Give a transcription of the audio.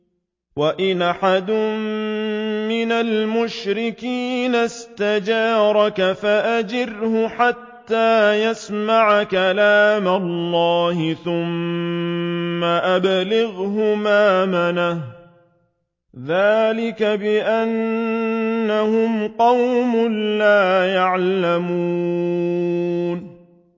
وَإِنْ أَحَدٌ مِّنَ الْمُشْرِكِينَ اسْتَجَارَكَ فَأَجِرْهُ حَتَّىٰ يَسْمَعَ كَلَامَ اللَّهِ ثُمَّ أَبْلِغْهُ مَأْمَنَهُ ۚ ذَٰلِكَ بِأَنَّهُمْ قَوْمٌ لَّا يَعْلَمُونَ